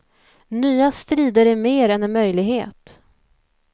Nya strider är mer än en möjlighet.